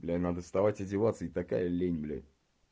блядь надо вставать одеваться и такая лень блядь